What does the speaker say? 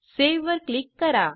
save वर click करा